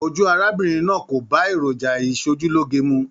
Ojú arábìnrin náà kò bá èròjà ìsòjúloge mu.